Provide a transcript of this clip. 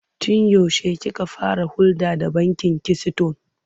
Tun yaushe kika fara hulɗa da bankin Kisiton?